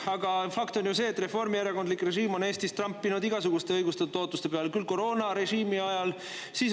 Aga fakt on ju see, et reformierakondlik režiim on Eestis trampinud igasuguste õigustatud ootuste peal näiteks koroonarežiimi ajal.